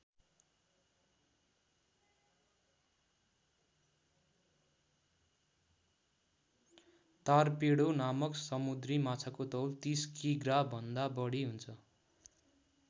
Torpedo नामक समुद्री माछाको तौल ३० कि ग्रा भन्दा बढी हुन्छ।